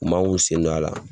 U man k'u sen do a la.